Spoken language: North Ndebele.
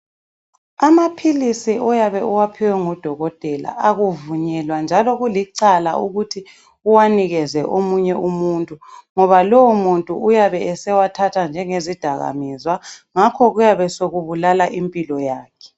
Amaphilisi oyabe uwaphiwe ngu dokotela akuvunyelwa njalo kulicala ukuthi uwanikeze omunye umuntu ngoba lowo muntu uyabe esewathatha njenge zidakamizwa ngakho kuyabe sokubulala impilo yakhe.